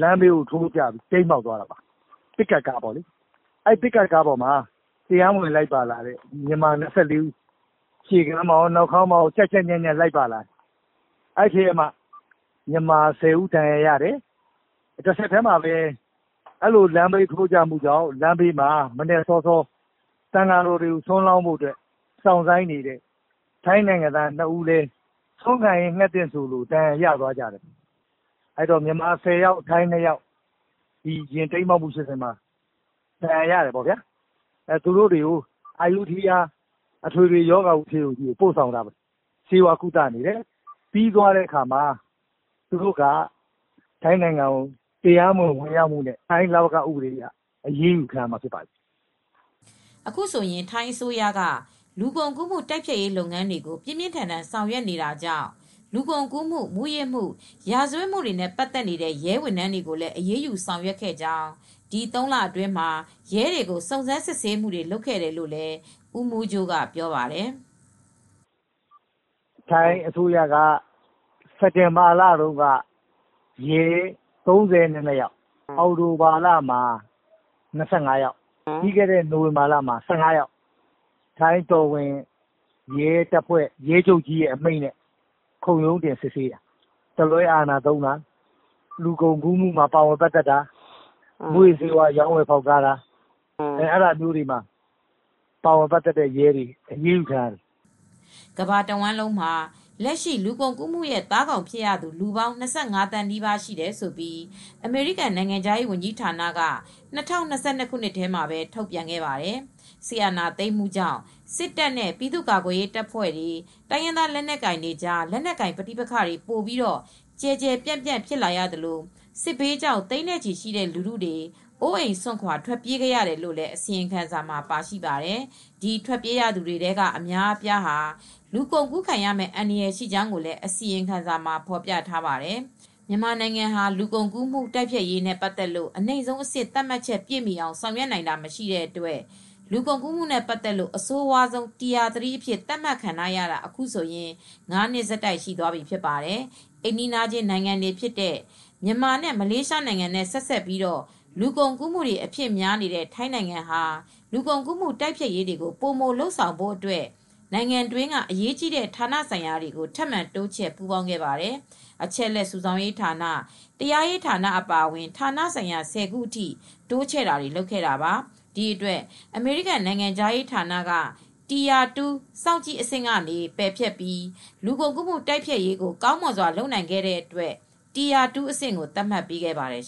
လမ်းဘေးကို တိမ်းမှောက်သွားပါတယ်။ ပစ်ကပ်ကားပါ။ ပစ်ကပ်ကားမှာ မြန်မာ၂၄ ဦး ရှေ့မှာရော နောက်မှာရော ကြပ်ကြပ်ညပ်ညပ် လိုက်ပါတယ်။ လမ်းဘေးကို ထိုးကျသွားတဲ့အတွက် လမ်းဘေးမှာ မနက်စောစော သံဃာတွေ ဆွမ်းလောင်းဖို့ စောင့်နေတဲ့ ထိုင်းနိုင်ငံသား၂ ဦးလည်း ဒဏ်ရာရသွားတယ်။ မြန်မာ ၁၀ ယောက်၊ ထိုင်း၂ ယောက် ယာဉ်တိမ်းမှောက်မှုကြောင့် ဒဏ်ရာရတယ်။ သူတို့တွေကိုတော့ အယုဒ္ဒယ အထွေထွေကု ဆေးရုံကြီးကို ပို့ပြီး ကုသနေရတယ်။ ပြီးရင်တော့ ထိုင်းနိုင်ငံထဲကို တရားမဝင် ဝင်ရောက်မှုနဲ့ ဖမ်းဆီးခံရမှာ ဖြစ်ပါတယ်။” အခုဆိုရင် ထိုင်းအစိုးရက လူကုန်ကူးမှု တိုက်ဖျက်ရေး လုပ်ငန်းတွေကို ပြင်းပြင်းထန်ထန် ဆောင်ရွက်နေတာကြောင့် လူကုန်ကူးမှု၊ မူးယစ်မှု၊ ရာဇဝတ်မှုနဲ့ ပတ်သက်နေတဲ့ ရဲဝန်ထမ်းတွေကိုလည်း အရေးယူ ဆောင်ရွက်ရာမှာ ဒီ ၃ လအတွင်းမှာ ရဲအတော်များများကို စုံစမ်းစစ်ဆေးမှုတွေ လုပ်ခဲ့တယ်လို့လည်း ဦးမိုးကြိုးက ပြောပါတယ်။ “ ထိုင်းအစိုးရက စက်တင်ဘာလမှာ ရဲ ၃၂ယောက်၊ အောက်တိုဘာလမှာ ၂၅ ယောက်၊ ပြီးခဲ့တဲ့ နိုဝင်ဘာလမှာ ၁၅ ယောက်ကို ထိုင်းရဲချုပ်အမိန့်နဲ့ ခုံရုံးဖွဲ့စစ်ဆေးတာ။ တလွဲအာဏာသုံးတာ၊ လူကုန်ကူးမှုတွေမှာ ပါဝင်ပတ်သက်တာ၊ မူးယစ်ဆေးဝါး ရောင်းဝယ်ဖောက်ကားမှုတွေမှာ ပါဝင်ပတ်သက်တဲ့ ရဲတွေ အရေးယူခံရပါတယ်။ ” ကမ ္ဘာတဝှမ်းမှာ လက်ရှိ လူကုန်ကူးမှုရဲ့ သားကောင်ဖြစ်ရသူ လူပေါင်း ၂၅ သန်း နီးပါး ရှိတယ်လို့ အမေရိကန် နိုင်ငံခြားရေးဝန်ကြီး ဌာနက ၂၀၂၂ ခုနှစ်ထဲမှာ ထုတ်ပြန်တဲ့ စာရင်းထဲမှာ ပါရှိပါတယ်။ စစ်အာဏာသိမ်းမှုကြောင့် စစ်တပ်နဲ့ ပြည်သူ့ကာကွယ်ရေး တပ်ဖွဲ့တွေ၊ တိုင်ရင်းသား လက်နက်ကို်င်တွေကြား လက်နက်ကိုင် ပဋိပက္ခတွေ ပိုပြီး ကျယ်ကျယ်ပြန့်ပြန့် ဖြစ်လာသလို စစ်ဘေးကြောင့် သိန်းနဲ့ ချီရှိတဲ့ လူထုတွေ အိုးအိမ်စွန့်ခွါ ထွက်ပြေးခဲ့ရတယ်လို့ အစီရင်ခံစာမှာ ပါရှိပါတယ်။ ဒီ ထွက်ပြေးရသူတွေထဲက အများအပြားဟာ လူကုန်ကူးခံရမယ့် အန္တရာယ် ရှိကြောင်းလည်း အစီရင်ခံစာမှာ ဖော်ပြထားပါတယ်။ မြန်မာနိုင်ငံဟာ လူကုန်ကူးမှု တိုက်ဖျက်ရေးနဲ့ ပတ်သက်လို့ အနိမ့်ဆုံးအဆင့် သတ်မှတ်ချက် ပြည့်မီအောင် ဆောင်ရွက်နိုင်တာ မရှိတဲ့အတွက် လူကုန်ကူးမှုနဲ့ ပတ်သက်လို့ အဆိုးရွားဆုံး အဆင့် Tier 3 အဖြစ် သတ်မှတ်ခံထားရတာ အခုဆိုရင် ၅နှစ်ဆက်တိုက် ရှိသွားပြီဖြစ်ပါတယ်။ အိမ်နီးနားချင်း နိုင်ငံတွေဖြစ်တဲ့ မြန်မာနဲ့ မလေးရှားနိုင်ငံနဲ့ ဆက်စပ်ပြီး လူကုန်ကူးမှုတွေ အဖြစ်များနေတဲ့ ထိုင်းနိုင်ငံဟာ လူကုန်ကူးမှု တိုက်ဖျက်ရေးတွေကို ပိုမိုလုပ်ဆောင်ဖို့အတွက် နိုင်ငံတွင်းက အရေးကြီးတဲ့ ဌာနဆိုင်ရာတွေကို ထပ်မံတိုးချဲ့ ပူးပေါင်းခဲ့ပါတယ်။ အချက်အလက် စုဆောင်းရေးဌာန၊ တရားရေးဌာနတွေ အပါအအဝင် ဌာနဆိုင်ရာ ၁၀ခု အထိတိုးချဲ့ တာတွေကို လုပ်ခဲ့တာပါ။ ဒီအတွက် အမေရိကန် နိုင်ငံခြားရေးဌာနက Tire 2 စောင့်ကြည့်အဆင့် ကနေ ပယ်ဖျက်ပြီး လူကုန်ကူးမှု တိုက်ဖျက်ရေးကို ကောင်မွန်စွာ လုပ်နိုင်ခဲ့တဲ့ အတွက် Tire 2 အဆင့်ကို သတ်မှတ်ပေးခဲ့ပါတယ်